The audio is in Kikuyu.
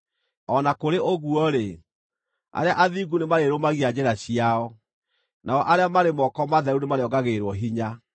O na kũrĩ ũguo-rĩ, arĩa athingu nĩmarĩrũmagia njĩra ciao, nao arĩa marĩ moko matheru nĩmarĩongagĩrĩrwo hinya.